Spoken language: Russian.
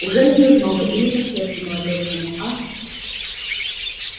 уже не зазноба ли по сердцу молодецкому а